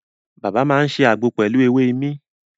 Bàbá máa ṣe àgbo pelu èwe imí